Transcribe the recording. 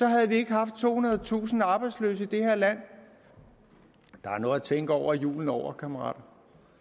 havde haft tohundredetusind arbejdsløse i det her land der er noget at tænke over julen over kammerater